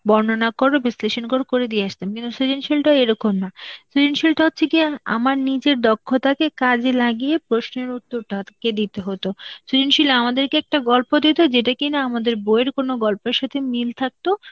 বর্ণনা কর, বিশ্লেষণ কর, করে দিয়ে আসতাম. কিন্তু সৃজনশীলতা এরকম না. সৃজনশীলতা হচ্ছে কি আমার নিজের দক্ষতাকে কাজে লাগিয়ে প্রশ্নের উত্তর দে~ কে দিতে হতো. সৃজনশীল আমাদেরকে একটা গল্প দিত, যেটা কিনা আমাদের বইয়ের কোন গল্পের সাথে মিল থাকতো,